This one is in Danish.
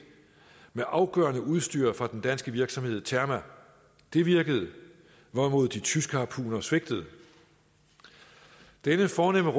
med afgørende udstyr fra den danske virksomhed terma det virkede hvorimod de tyske harpuner svigtede denne fornemme